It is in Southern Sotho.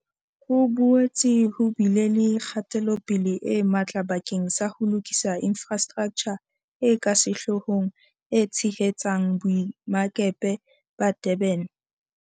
Ho boetse ho bile le kgatelopele e matla bakeng sa ho lokisa infrastraktjha e ka sehloohong e tshehetsang Boemakepe ba Durban.